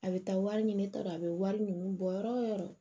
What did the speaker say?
A bɛ taa wari ɲini ta dɔrɔn a bɛ wari ninnu bɔ yɔrɔ wo yɔrɔ